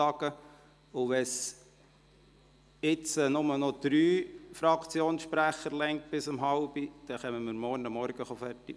Wenn es ab jetzt bis um 16.30 Uhr bloss noch für drei Fraktionssprecher reicht, beraten wir morgen früh zu Ende.